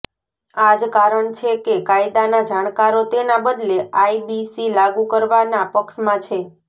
આ જ કારણ છે કે કાયદાના જાણકારો તેના બદલે આઇબીસી લાગુ કરવાના પક્ષમાં છે